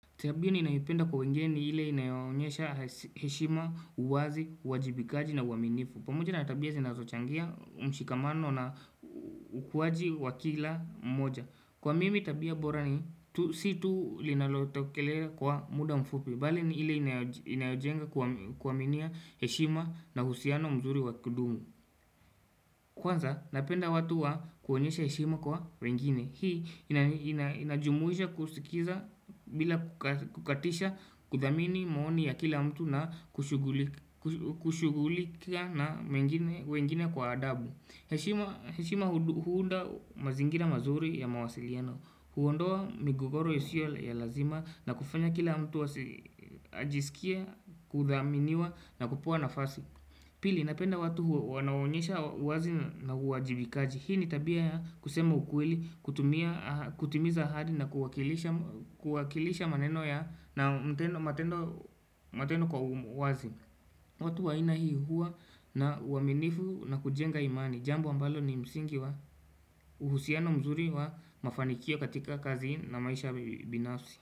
Tabia ninayoipenda kwa wengeni ni ile inayoonyesha heshima uwazi, uwajibikaji na uaminifu pamoja natabia zinazo changia mshikamano na ukuwaji wakila mmoja Kwa mimi tabia borani, si tu linalotokeleakwa muda mfupi Bali ni hile inayojenga kuaminia heshima na uhusiano mzuri wakudumu Kwanza, napenda watu wa kuonyesha heshima kwa wengine Hii inajumuisha kusikiza bila kukatisha kuthamini maoni ya kila mtu na kushugulika na wengine kwa adabu heshima huunda mazingira mazuri ya mawasiliano huondoa migogoro isiyo ya lazima na kufanya kila mtu ajisikii kuthaminiwa na kupewa nafasi Pili napenda watu wanaonyesha uwazi na uajibikaji Hii ni tabia ya kusema ukweli kutumia kutimiza ahadi na kuwakilisha maneno ya na matendo kwa wazi watu wa aina hii huwa na uaminifu na kujenga imani Jambo ambalo ni msingi wa uhusiano mzuri wa mafanikio katika kazi na maisha binafsi.